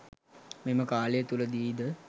මෙම කාලය තුළදී ද